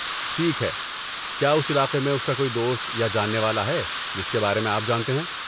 ٹھیک ہے، کیا اس علاقے میں اس کا کوئی دوست یا جاننے والا ہے جس کے بارے میں آپ جانتے ہیں؟